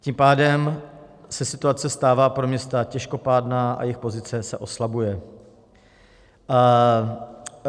Tím pádem se situace stává pro města těžkopádná a jejich pozice se oslabuje.